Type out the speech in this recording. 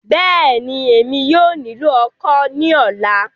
Bẹ́ẹ̀ni, Emi yóò nilo ọ́kọ ni ọla